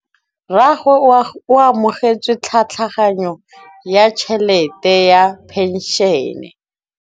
Rragwe o amogetse tlhatlhaganyô ya tšhelête ya phenšene.